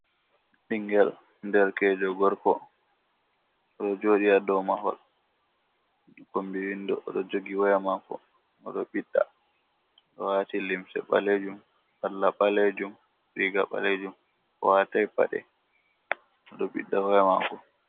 Ɓingel derkejo gorko oɗo joɗi haa dow mahol kombi windo, oɗo jogi waya mako oɗo ɓiɗɗa, oɗo waati limse ɓalejum salla ɓalejum riga ɓalejum, owatai paɗe oɗo ɓiɗɗa waya mako.